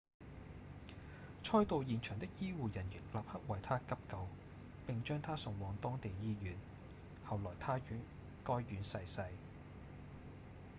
賽道現場的醫護人員立刻為他急救並將他送往當地醫院後來他於該院逝世